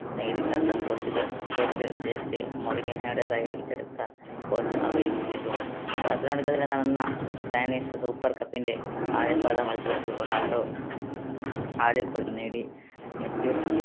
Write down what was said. portuguese coach Jose മൌറീനോയുടെ coach അവയും ചെയ്തു. ബാർസലോണക്കെതിരെ നടന്ന സ്പാനിഷ് super cup ന്റെ ആദ്യ പാദ മത്സരത്തിൽ റൊണാൾഡോ ആദ്യ goal നേടി. മെസ്യൂട്ട്